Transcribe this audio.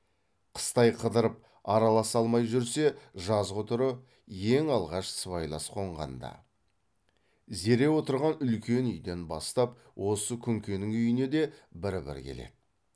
қыстай қыдырып араласа алмай жүрсе жазғытұры ең алғаш сыбайлас қонғанда зере отырған үлкен үйден бастап осы күнкенің үйіне де бір бір келеді